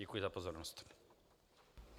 Děkuji za pozornost.